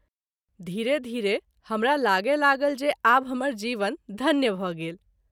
धीरे - धीरे हमरा लागए लागल जे आब हमर जीवन धन्य भ’ गेल।